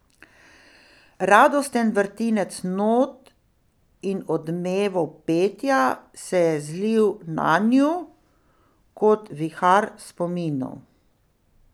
Radosten vrtinec not in odmevov petja se je zlil nanju kot vihar spominov.